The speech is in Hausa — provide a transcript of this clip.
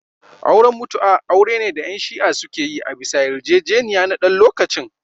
Auren mutu'a aure ne da yan shi'ah suke yi a bisa yar jejeniya na dan lokacin